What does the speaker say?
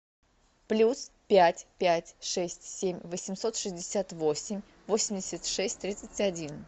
плюс пять пять шесть семь восемьсот шестьдесят восемь восемьдесят шесть тридцать один